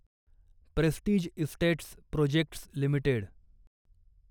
prestige estates projects limited